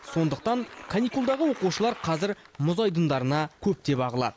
сондықтан каникулдағы оқушылар қазір мұз айдындарына көптеп ағылады